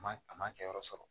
A ma a ma kɛ yɔrɔ sɔrɔ